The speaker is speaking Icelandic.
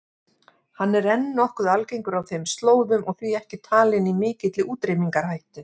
Hann er enn nokkuð algengur á þeim slóðum og því ekki talinn í mikilli útrýmingarhættu.